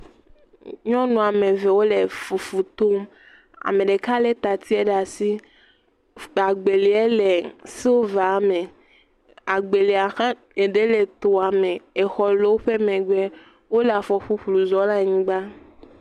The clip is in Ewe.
Nyɔnu woame eve wole fu tom. Ame ɖeka le tati ɖe asi. Agbelia le siliva me. Agbelia ɖe tse le etoa me. Eɖe le etoa me. Exɔ le woƒe megbe. Wòle afɔ ƒuƒlu zɔm le anyigba